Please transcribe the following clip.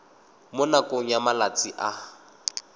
mo nakong ya malatsi a